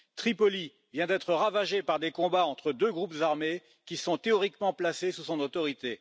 Tripoli vient d'être ravagée par des combats entre deux groupes armés qui sont théoriquement placés sous son autorité.